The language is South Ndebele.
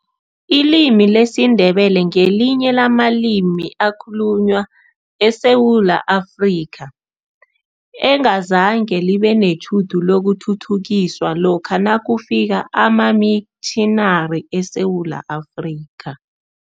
Ilimi lesiNdebele ngelinye lamalimi akhulunywa eSewula Afrika, engazange libe netjhudu lokuthuthukiswa lokha nakufika amamitjhinari eSewula Afrika.